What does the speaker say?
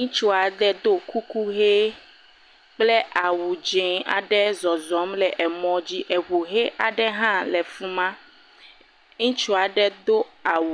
Ŋustsu aɖe ɖɔ kuku ʋɛ kple awu dzɛ aɖe le zɔzɔ le mɔdzi. Eŋu ʋi aɖe le aɖe hã le afima. Ŋustsa aɖe do awu.